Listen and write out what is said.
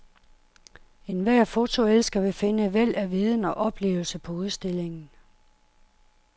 Enhver fotoelsker vil finde et væld af viden og oplevelse på udstillingen.